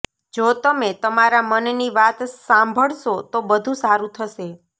જો તમે તમારા મનની વાત સાંભળશો તો બધું સારું થશે